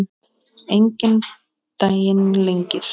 Enginn daginn lengir.